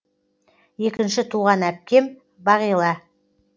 екінші туған әпкем багила